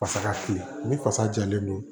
Fasa kiliyan ni fasa jalen don